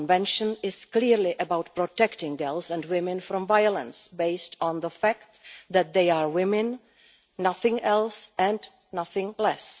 But the Convention is clearly about protecting girls and women from violence based on the fact that they are women, nothing else, and nothing less.